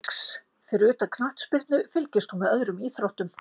Giggs Fyrir utan knattspyrnu, fylgist þú með öðrum íþróttum?